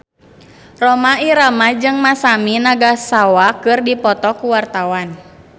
Rhoma Irama jeung Masami Nagasawa keur dipoto ku wartawan